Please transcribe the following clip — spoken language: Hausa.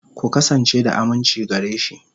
Ku kasance da aminci gare shi.